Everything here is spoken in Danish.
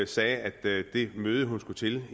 sagde at det møde hun skal til